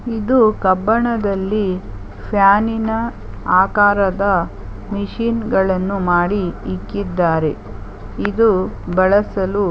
ಇದು ಕಬ್ಬಣದಲ್ಲಿ ಫ್ಯಾನ್ ನೀನಾ ಆಕಾರದ ಮಿಷಿನ್ ಗಳನ್ನು ಮಾಡಿ ಮಾಡಿ ಇಕ್ಕಿದ್ದಾರೆ ಇದು ಬಳಸಲು--